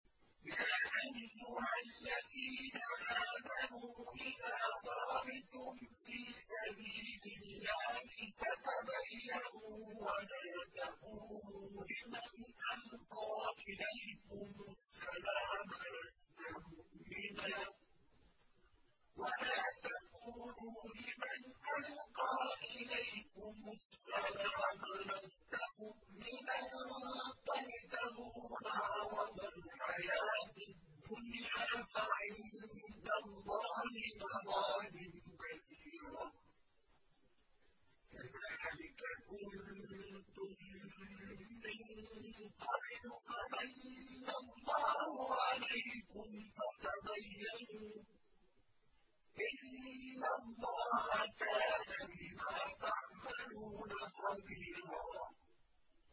يَا أَيُّهَا الَّذِينَ آمَنُوا إِذَا ضَرَبْتُمْ فِي سَبِيلِ اللَّهِ فَتَبَيَّنُوا وَلَا تَقُولُوا لِمَنْ أَلْقَىٰ إِلَيْكُمُ السَّلَامَ لَسْتَ مُؤْمِنًا تَبْتَغُونَ عَرَضَ الْحَيَاةِ الدُّنْيَا فَعِندَ اللَّهِ مَغَانِمُ كَثِيرَةٌ ۚ كَذَٰلِكَ كُنتُم مِّن قَبْلُ فَمَنَّ اللَّهُ عَلَيْكُمْ فَتَبَيَّنُوا ۚ إِنَّ اللَّهَ كَانَ بِمَا تَعْمَلُونَ خَبِيرًا